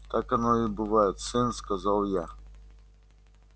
как оно и бывает сын сказал я